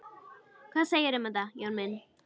Hvað segirðu um þetta, Jón minn?